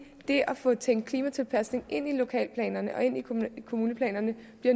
det at få tænkt klimatilpasning ind i lokalplanerne og kommuneplanerne